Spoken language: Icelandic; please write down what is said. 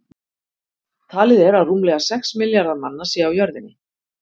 Talið er að rúmlega sex milljarðar manna séu á jörðinni.